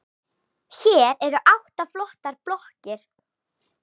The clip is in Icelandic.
Hér eru átta flottar blokkir.